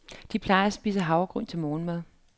De plejer at spise havregryn til morgenmad.